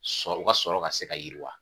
Sɔr u ka sɔrɔ ka se ka yiriwa